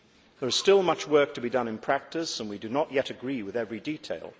There is still much work to be done in practice and we do not yet agree with every detail.